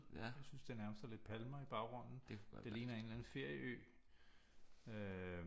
Jeg synes det nærmest er lidt palmer i baggrundet det ligner en eller anden ferieø øh